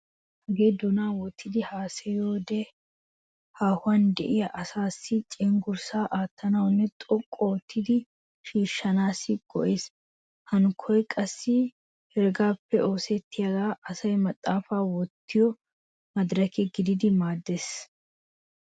Hagee doonan wottidi haasayiyode haahuwan de'iya asaassi cenggurssa aattanawunne xoqqu oottidi sissanaassi go'ees. Hankoy qassi heregaappe oosettiyogan asay maxaafata wottiyo maadireke gididi maaddeees.